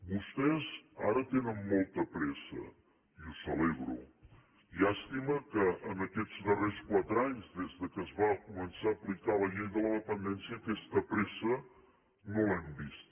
vostès ara tenen molta pressa i ho celebro llàstima que en aquests darrers quatre anys des que es va començar a aplicar la llei de la dependència aquesta pressa no l’hem vista